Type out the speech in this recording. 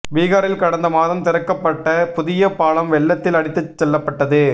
பிகாரில் கடந்த மாதம் திறக்கப்பட்ட புதிய பாலம் வெள்ளத்தில் அடித்துச் செல்லப்பட்டது